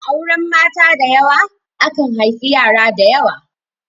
A auren mata dayawa, akan haifi yara dayawa.